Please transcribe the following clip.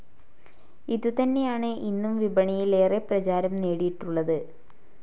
ഇതുതന്നെയാണ് ഇന്നും വിപണിയിൽ ഏറെ പ്രചാരം നേടിയിട്ടുള്ളത്.